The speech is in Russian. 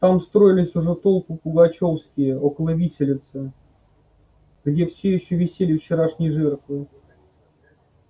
там строились уже толпы пугачёвские около виселицы где всё ещё висели вчерашние жертвы